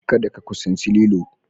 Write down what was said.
kada ka kusaci lilo.